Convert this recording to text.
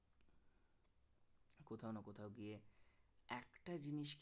একটা জিনিস